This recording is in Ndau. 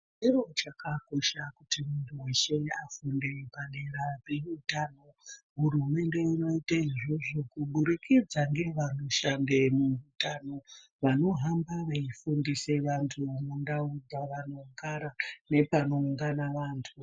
Chikora chakakosha kuti muntu veshe afunde padera peutano. Hurumende inoite izvozvo kubudikidza ngevanoshande munezveutano vanohamba vaifundisa vantu mundau dzavanogara, nepanoungana vantu.